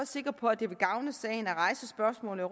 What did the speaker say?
sikker på at det vil gavne sagen at rejse spørgsmålet